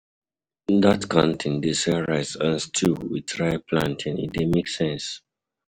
Dat canteen dey sell rice and stew wit ripe plantain, e dey make sense.